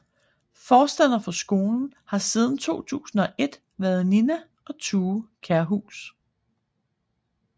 Forstander for skolen har siden 2001 været Nina og Thue Kjærhus